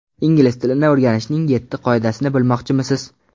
Ingliz tilini o‘rganishning yetti qoidasini bilmoqchimisiz?.